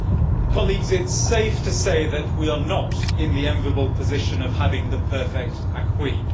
It is safe to say that we are not in the enviable position of having the perfect acquis.